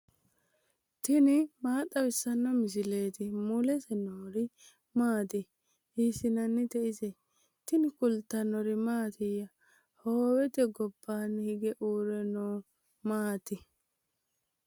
tini maa xawissanno misileeti ? mulese noori maati ? hiissinannite ise ? tini kultannori mattiya? hoowette gobbaanni higge uure noori maatti?